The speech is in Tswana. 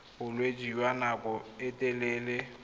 bolwetse jwa nako e telele